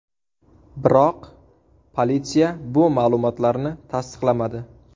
Biroq politsiya bu ma’lumotlarni tasdiqlamadi.